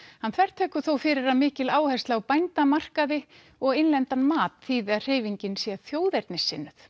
hann þvertekur þó fyrir að mikil áhersla á og innlendan mat þýði að hreyfingin sé þjóðernissinnuð